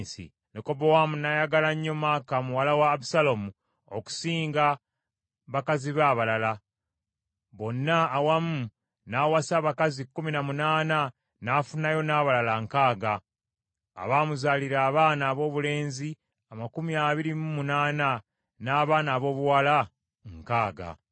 Lekobowaamu n’ayagala nnyo Maaka muwala wa Abusaalomu okusinga bakazi be abalala. Bonna awamu n’awasa abakazi kkumi na munaana n’afunayo n’abalala nkaaga, abaamuzaalira abaana aboobulenzi amakumi abiri mu munaana n’abaana aboobuwala nkaaga.